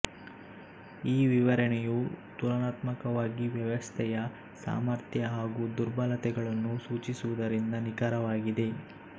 ಈ ವಿವರಣೆಯು ತುಲನಾತ್ಮಕವಾಗಿ ವ್ಯವಸ್ಥೆಯ ಸಾಮರ್ಥ್ಯ ಹಾಗೂ ದುರ್ಬಲತೆಗಳನ್ನು ಸೂಚಿಸುವುದರಿಂದ ನಿಖರವಾಗಿದೆ